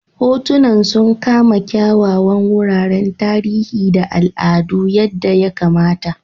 Hotunan sun kama kyawawan wuraren tarihi da al'adu yadda ya kamata.